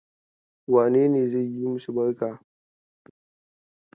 Wane ne zai yi masu barka?